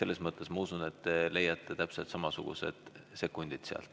Nii et ma usun, et te leiate täpselt samasugused sekundid sealt.